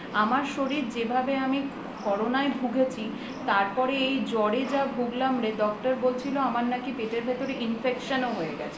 আমার শরীর যেভাবে আমি corona য় ভুগেছি তারপরে এই জ্বর এ যা ভুগলাম রে doctor বলছিল আমার নাকি পেটের ভিতর infection হয়ে গেছে